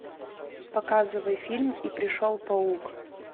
показывай фильм и пришел паук